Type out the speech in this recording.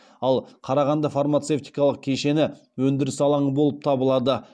ал қарағанды фармацевтикалық кешені өндіріс алаңы болып табылады